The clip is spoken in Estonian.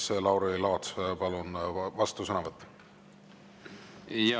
Siis Lauri Laats, palun, vastusõnavõtt!